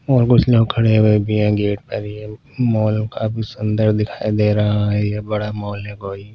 और कुछ लोग खड़े हुए भी हैं गेट पर मॉल काफी सुंदर दिखाई दे रहा है ये बड़ा मॉल है कोई।